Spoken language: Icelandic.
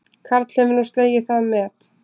Karl hefur nú slegið það met